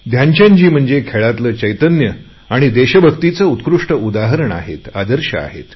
ध्यानचंदजी म्हणजे खेळातले चैतन्य आणि देशभक्तीचे उत्कृष्ट उदाहरण आहेत आदर्श आहेत